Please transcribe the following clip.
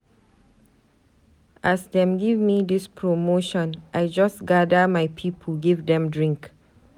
As dem gemme dis promotion, I just gather my pipu give dem drink.